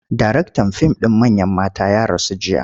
Daraktan fim ɗin Manyan Mata ya rasu jiya.